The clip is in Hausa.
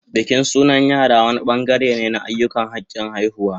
Bikin sunan yara wani bangare ne na ayyukan hakin haihuwa